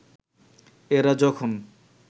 এরা যখন